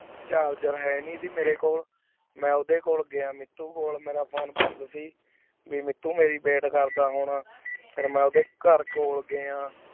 charger ਹੀਨੀ ਸੇ ਮੇਰੀ ਖੋਲ ਮੈਂ ਓਦੇ ਖੋਲ ਗਿਆ ਮੀਤੁ ਹੋਰ ਮੇਰਾ phone ਬੰਦ ਸੇ ਵੀ ਮੀਤੁ ਮੀਰੀ ਬੀਤ ਕਰਦਾ ਹੁਣ ਫਿਰ ਮੈਂ ਓਦੇ ਕਾਰ ਕੋ ਗਿਆ